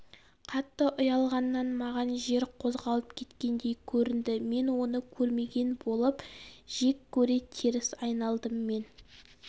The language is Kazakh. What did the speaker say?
қатты ұялғаннан маған жер қозғалып кеткендей көрінді мен оны көрмеген болып жек көре теріс айналдым мен